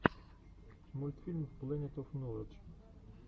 мультфильм плэнет оф ноладж